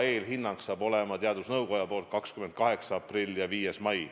Eelhinnang saab olema teadusnõukoja poolt 28. aprillil ja 5. mail.